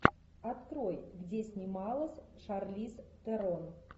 открой где снималась шарлиз терон